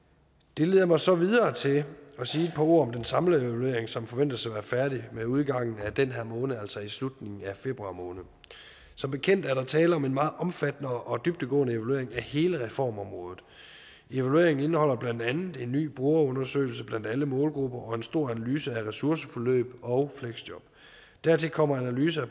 det leder mig så videre til at sige et par ord om den samlede evaluering som forventes at være færdig med udgangen af den her måned altså i slutningen af februar måned som bekendt er der tale om en meget omfattende og dybdegående evaluering af hele reformområdet evalueringen indeholder blandt andet en ny brugerundersøgelse blandt alle målgrupper og en stor analyse af ressourceforløb og fleksjob dertil kommer analyse